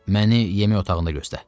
Məni yemək otağında göstər.